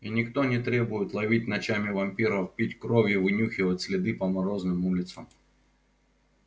и никто не требует ловить ночами вампиров пить кровь и вынюхивать следы по морозным улицам